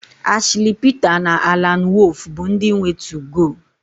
Ashli Pita na Alan Wolf bụ ndị nwe 2go